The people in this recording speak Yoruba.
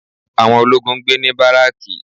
Àwọn ológun ń gbé ní baraki